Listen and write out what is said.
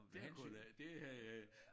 Det kunne da det havde jeg